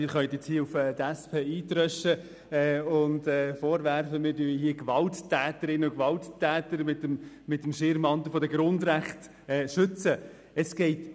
Sie können jetzt auf die SP einschlagen und uns vorwerfen, dass wir hier Gewalttäterinnen und Gewalttäter mit dem Schirm der Grundrechte schützen wollen.